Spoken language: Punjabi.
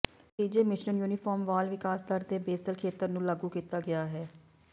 ਨਤੀਜੇ ਮਿਸ਼ਰਣ ਯੂਨੀਫਾਰਮ ਵਾਲ ਵਿਕਾਸ ਦਰ ਦੇ ਬੇਸਲ ਖੇਤਰ ਨੂੰ ਲਾਗੂ ਕੀਤਾ ਗਿਆ ਹੈ